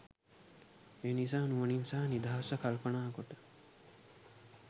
එනිසා නුවණින් සහ නිදහස්ව කල්පනා කොට